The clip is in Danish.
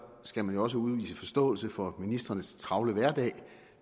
skal man jo også udvise forståelse for ministrenes travle hverdag